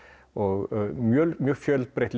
og mjög mjög fjölbreytt